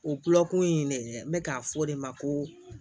O kulokun in de bɛ k'a fɔ o de ma ko